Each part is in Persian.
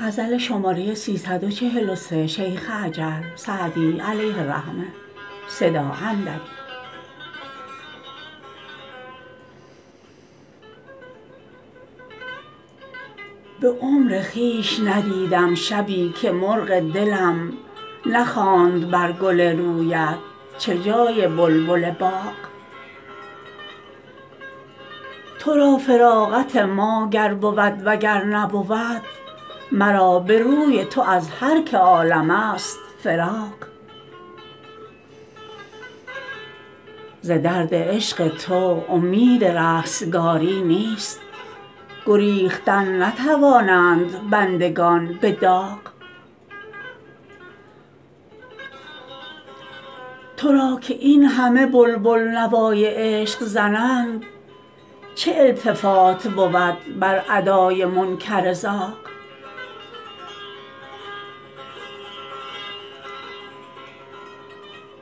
به عمر خویش ندیدم شبی که مرغ دلم نخواند بر گل رویت چه جای بلبل باغ تو را فراغت ما گر بود و گر نبود مرا به روی تو از هر که عالم ست فراغ ز درد عشق تو امید رستگاری نیست گریختن نتوانند بندگان به داغ تو را که این همه بلبل نوای عشق زنند چه التفات بود بر ادای منکر زاغ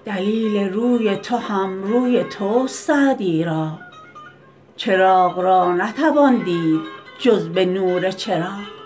دلیل روی تو هم روی توست سعدی را چراغ را نتوان دید جز به نور چراغ